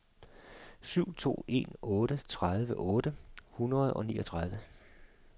syv to en otte tredive otte hundrede og niogtredive